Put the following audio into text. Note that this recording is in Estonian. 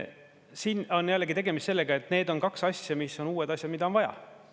Siin on jällegi tegemist sellega, et need on kaks asja, mis on uued asjad, mida on vaja.